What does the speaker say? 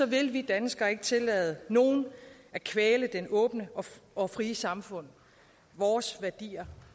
vil vi danskere ikke tillade nogen at kvæle det åbne og frie samfund vores værdier